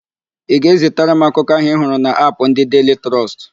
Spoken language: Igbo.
Ị ga-ezitara m akụkọ ahụ ị hụrụ n'Apụ ndị Deili Trọst?